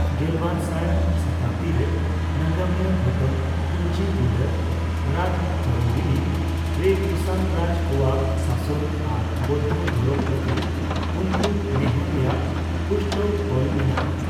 ᱜᱮᱞᱵᱟᱨ ᱥᱟᱭ ᱥᱚᱛᱟᱵᱫᱤ ᱨᱮ ᱱᱟᱜᱟᱢᱤᱭᱟᱹ ᱜᱷᱚᱴᱚᱱ ᱯᱩᱧᱡᱤ ᱵᱤᱸᱰᱟ 'ᱨᱟᱡᱽᱛᱚᱨᱚᱝᱜᱤᱱᱤ ᱨᱮ ᱠᱩᱥᱟᱱ ᱨᱟᱡᱽ ᱠᱚᱣᱟᱜ ᱥᱟᱥᱚᱱ ᱟᱨ ᱵᱳᱭᱫᱷᱚ ᱫᱷᱚᱨᱚᱢ ᱯᱨᱚᱛᱤ ᱩᱱᱠᱩ ᱱᱮᱸᱦᱚᱨ ᱨᱮᱭᱟᱜ ᱯᱩᱥᱴᱟᱹᱣ ᱚᱞ ᱢᱮᱱᱟᱜᱼᱟ ᱾